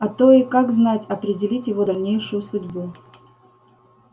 а то и как знать определить его дальнейшую судьбу